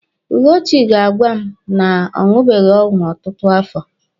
Ugochi ga-agwa m na ọ ṅụbeghị ọgwụ ọtụtụ afọ.